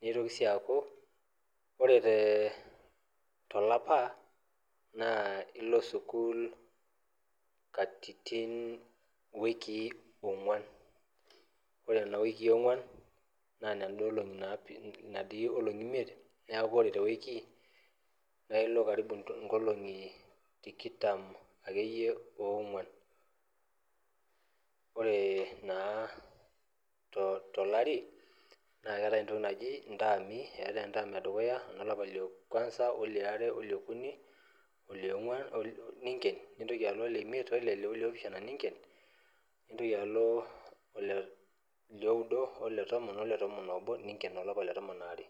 nitoki si aaku ore tolapa na ilo aukul katitin onguan na ore kuna onguan na ilo tewiki karibu nkolongi tikitam onguan ore naa tolari na keetae entam edukuya olapa ledukuya oliare oleokuni ninken nintoki aleimiet oleopishana nintoki alo oleudo ole tomon obo ninken oletom aaee.